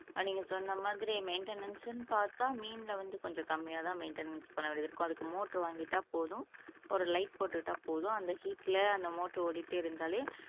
நீங்க சொன்ன மாதிரி மெயின்டெனன்ஸ்னு பாத்தா மீன்ல வந்து கொஞ்சம் கம்மியா தான் மெயின்டெனன்ஸ் பண்ண வேண்டி இருக்கும் அதுக்கு மோட்டார் வாங்கிட்ட போதும் ஒரு லைட் போட்டுட்டா போதும் அந்த ஹீட்ல அந்த மோட்டர் ஓடிட்டே இருந்தாலே